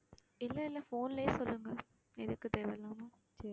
இல்லை இல்லை phone லயே சொல்லுங்க எதுக்கு தேவையில்லாம